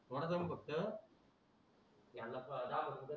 थोडा दम फक्त त्याला दाखवतो